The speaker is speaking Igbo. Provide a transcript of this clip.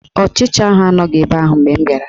Ọchicha ahụ anọghị ebe ahụ mgbe m bịara